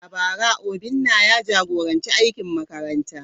A bara, Obinna ya jagoranci aikin makaranta.